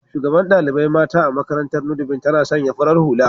shugaɓan ɗaliɓai mata a maƙarantar "nudivine " tana sanƴa farar hula